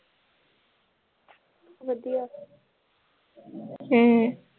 ਵਧੀਆ ਹਮ